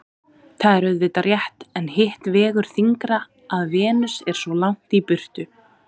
Það er auðvitað rétt en hitt vegur þyngra að Venus er svo langt í burtu.